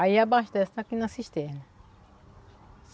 Aí abastece aqui na cisterna.